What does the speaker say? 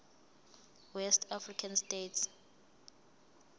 west african states